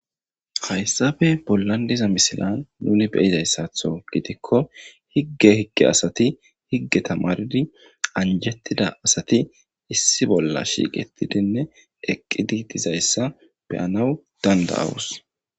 Hayssafe bollan diza misilan nuni beyizayssatho gidikko higge higge asati higge tamaridi anjettida asati issi bolla shiiqetidinne eqqidi dizayssa beyanawu danda awus.